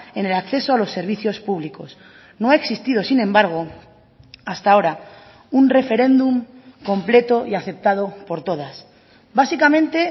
en el acceso a los servicios públicos no ha existido sin embargo hasta ahora un referéndum completo y aceptado por todas básicamente